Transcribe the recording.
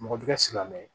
Mɔgɔ bɛ ka silamɛ